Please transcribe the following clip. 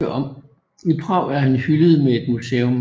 I Prag er han hyldet med et museum